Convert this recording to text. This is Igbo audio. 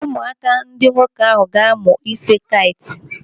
Ụmụaka ndị nwoke ahụ ga-amụ ife kait.